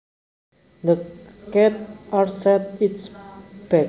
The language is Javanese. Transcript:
The cat arched its back